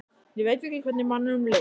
Ég veit ekki hvernig manninum leið.